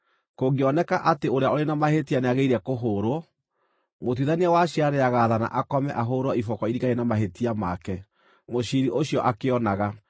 Kũngĩoneka atĩ ũrĩa ũrĩ na mahĩtia nĩagĩrĩire kũhũũrwo, mũtuithania wa ciira nĩagaathana akome ahũũrwo iboko iringaine na mahĩtia make, mũciiri ũcio akĩonaga,